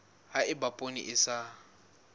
ha eba poone e sa